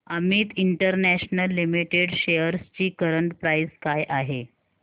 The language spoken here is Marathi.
अमित इंटरनॅशनल लिमिटेड शेअर्स ची करंट प्राइस काय आहे